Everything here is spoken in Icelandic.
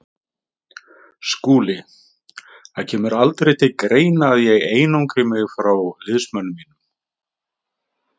SKÚLI: Það kemur aldrei til greina að ég einangri mig frá liðsmönnum mínum.